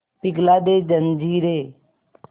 पिघला दे जंजीरें